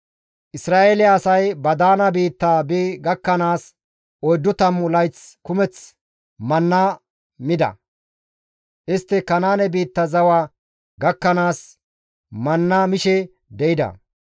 Isra7eele asay ba daana biitta bi gakkanaas oyddu tammu layth kumeth manna mida; Istti Kanaane biitta zawa gakkanaas manna mishe de7ida.